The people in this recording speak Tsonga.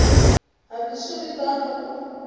hambi swi ri tano ku